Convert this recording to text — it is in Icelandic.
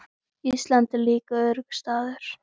Ísland er líka öruggur staður.